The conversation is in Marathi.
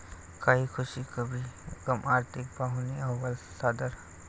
कही खुशी, कही गम', आर्थिक पाहणी अहवाल सादर